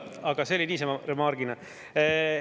Aga see oli niisama remark.